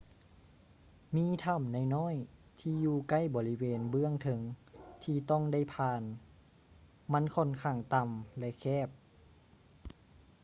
ມີຖໍ້ານ້ອຍໆທີ່ຢູ່ໃກ້ບໍລິເວນເບື້ອງເທິງທີ່ຕ້ອງໄດ້ຜ່ານ ມັນຂ້ອນຂ້າງຕໍ່າ ແລະ ແຄບ